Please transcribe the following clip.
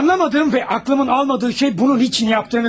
Anlamadığım və ağlımın almadığı şey bunu niyə etdiyinizdir.